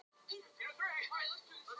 Sagði henni að ég gæti ekki komið heim strax.